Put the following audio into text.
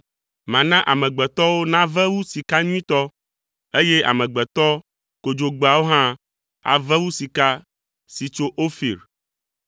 Mana amegbetɔwo nave wu sika nyuitɔ, eye amegbetɔ kodzogbeawo hã ave wu sika si tso Ofir.